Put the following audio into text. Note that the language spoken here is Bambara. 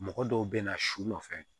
Mɔgɔ dɔw bɛ na su nɔfɛ